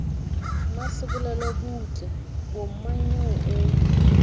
mmasebolelo butle bo mmanyeo o